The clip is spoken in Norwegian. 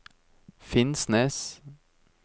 Finnsnes